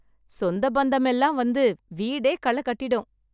சொந்த பந்தம் எல்லாம் வந்து வீடே கள கட்டிடும்.